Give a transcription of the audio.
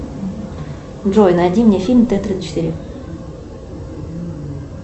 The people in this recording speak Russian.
джой найди мне фильм т тридцать четыре